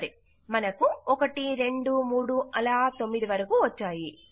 సరె మనకు 1 2 3 అలా 9 వరకూ వచ్చాయి